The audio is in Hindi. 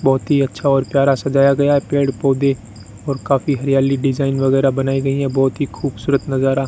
बहुत ही अच्छा और प्यारा सजाया गया है पेड़ पौधे और काफी हरियाली डिज़ाइन वगैरह बनाई गई हैं बहुत ही खूबसूरत नजारा --